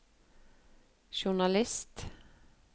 journalist